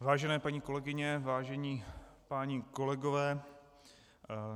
Vážené paní kolegyně, vážení páni kolegové,